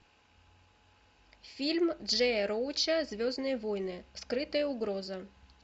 фильм джея роуча звездные войны скрытая угроза